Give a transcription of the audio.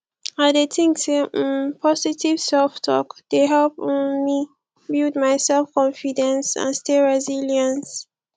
i dey think say um positive selftalk dey help um me build my selfconfidence and stay resilience